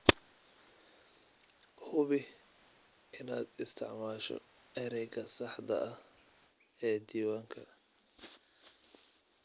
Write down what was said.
Hubi inaad isticmaasho ereyga saxda ah ee diiwaanka.